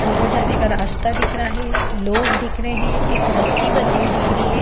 अंदर जाने का रास्ता दिख रहा है लोग दिख रहे है एक रस्सी बंधी हुई दिख रही है।